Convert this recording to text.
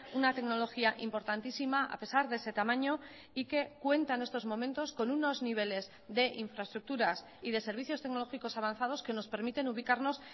una tecnología importantísima a pesar de ese tamaño y que cuenta en estos momentos con unos niveles de infraestructuras y de servicios tecnológicos avanzados que nos permiten ubicarnos